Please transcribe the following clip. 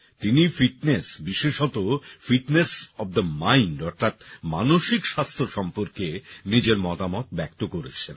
তিনি ফিটনেস বিশেষত fitness of the mind অর্থাৎ মানসিক স্বাস্থ্য সম্পর্কে নিজের মতামত ব্যক্ত করেছেন